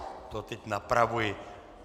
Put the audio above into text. To teď napravuji.